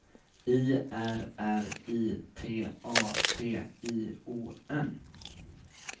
I R R I T A T I O N